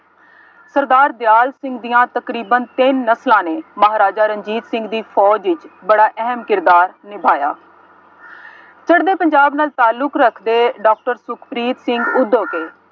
ਸਰਕਾਰ ਦਿਆਲ ਸਿੰਘ ਦੀਆਂ ਤਕਰੀਬਨ ਤਿੰਨ ਨਸਲਾਂ ਨੇ, ਮਹਾਰਾਜਾ ਰਣਜੀਤ ਸਿੰਘ ਦੀ ਫੋਜ ਵਿੱਚ ਬੜਾ ਅਹਿਮ ਕਿਰਦਾਰ ਨਿਭਾਇਆ। ਫਿਰਦੇ ਪੰਜਾਬ ਨਾਲ ਤਾਲੁੱਕ ਰੱਖਦੇ ਡਾਕਟਰ ਸੁਖਪ੍ਰੀਤ ਸਿੰਘ ਉਦੋਕੇ